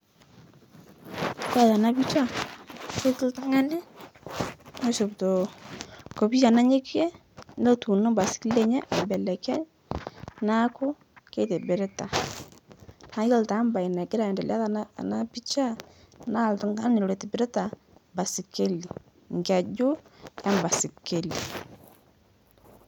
Kore tena picha ketii oltung'ani loishopito enkopiya nanyokie, netuuno embaisikeli enye aibelekeny' naaku keitibirita, naah iyolo taa imbae nagira aendelea tena tena picha naah iltung'ani loitobirita embaisikeli, enkeju embaisikeli.